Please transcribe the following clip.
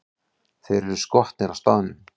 Þeir eru skotnir á staðnum!